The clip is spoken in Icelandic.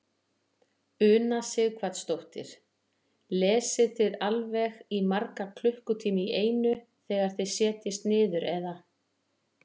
Una Sighvatsdóttir: Lesið þið alveg í marga klukkutíma í einu þegar þið setjist niður eða?